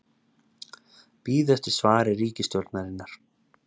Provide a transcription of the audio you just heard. Bíða eftir svari ríkisstjórnarinnar